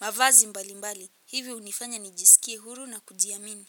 mavazi mbalimbali hivyo hunifanya nijisikie huru na kujiamini.